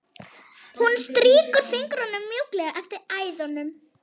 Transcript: Hún strýkur fingrunum mjúklega eftir æðunum.